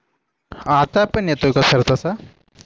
आत्ता पण येतोय का सर तसा